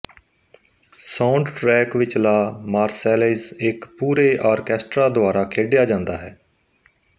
soundtrack ਵਿੱਚ La Marseillaise ਇੱਕ ਪੂਰੇ ਆਰਕੈਸਟਰਾ ਦੁਆਰਾ ਖੇਡਿਆ ਜਾਂਦਾ ਹੈ